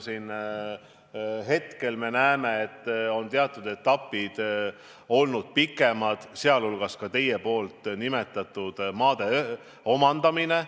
Hetkel me näeme, et teatud etapid on olnud pikemad, sh ka teie nimetatud maade omandamine.